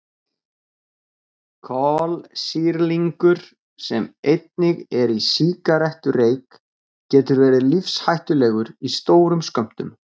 Kolsýrlingur sem einnig er í sígarettureyk getur verið lífshættulegur í stórum skömmtum.